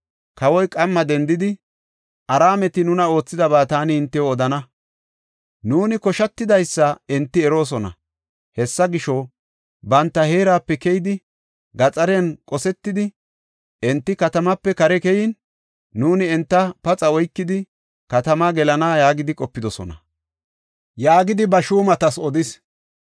Kawoy qamma dendidi, “Araameti nuna oothidaba taani hintew odana. Nuuni koshatidaysa enti eroosona. Hessa gisho, banta heerape keyidi, gaxariyan qosetidi, enti katamaape kare keyin, nuuni enta paxa oykidi, katama gelana yaagidi qopidosona” yaagidi ba shuumatas odis.